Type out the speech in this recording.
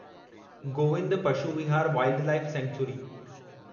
Govind Pashu Vihar wildlife sanctuary